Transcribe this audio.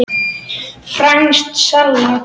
Franskt salat